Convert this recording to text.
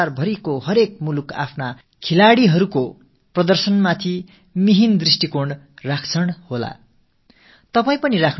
உலகின் அனைத்து நாடுகளும் தங்களது விளையாட்டு வீரர்களின் வெளிப்பாட்டின் மீது உன்னிப்பான கவனத்தை செலுத்துவார்கள் நீங்களும் கவனம் செலுத்துவீர்கள்